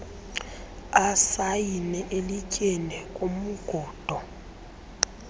asayine elityeni kumngundo